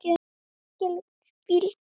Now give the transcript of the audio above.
Það gat verið mikil hvíld.